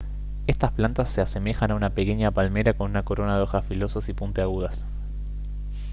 estas plantas se asemejan a una pequeña palmera con una corona de hojas filosas y puntiagudas